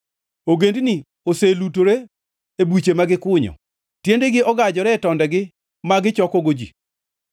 Ogendini oselutore e buche ma gikunyo; tiendegi ogajore e tondegi ma gichokogo ji.